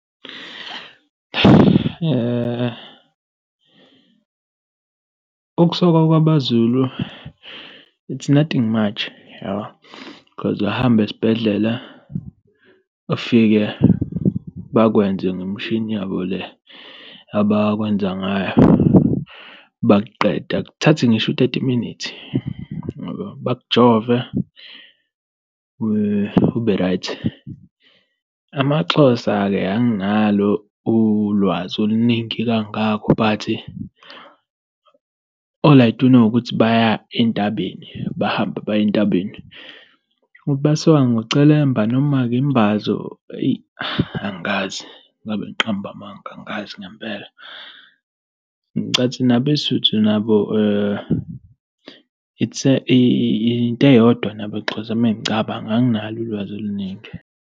Ukusokwa kwabaZulu it's nothing much yabo cause ayahamba uye esibhedlela, ufike bakwenze ngemishini yabo le abakwenza ngayo bakuqede. Akuthathi ngisho u-thirty minutes ngoba bakujove ube-right. AmaXhosa-ke anginalo ulwazi oluningi kangakho bhathi all I do know ukuthi baya entabeni, bahambe baye entabeni. Ukuthi basikwa ngocelemba noma ngembazo eyi angazi ngabe ngiqambe amanga angazi ngempela. Ngicathi nabeSuthu nabo it's a into eyodwa nabo mengicabanga, anginalo ulwazi oluningi.